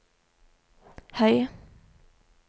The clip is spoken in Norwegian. høy